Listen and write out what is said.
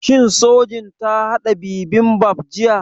Shin Sojin ta haɗa bibimbap jiya?